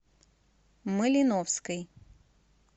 малиновской